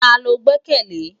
Tá ló gbèkèlé?